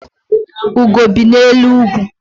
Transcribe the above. Ugo bi n'elu ugwu.